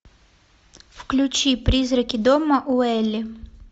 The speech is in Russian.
включи призраки дома уэйли